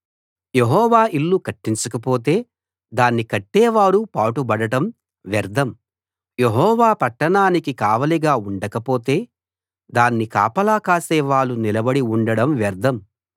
యెహోవా ఇల్లు కట్టించకపోతే దాన్ని కట్టే వారు పాటుబడడం వ్యర్ధం యెహోవా పట్టణానికి కావలిగా ఉండకపోతే దాన్ని కాపలా కాసేవాళ్ళు నిలబడి ఉండడం వ్యర్ధం